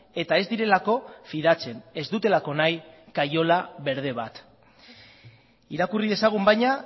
eta ez direlako fidatzen ez dutelako nahi kaiola berde bat irakurri dezagun baina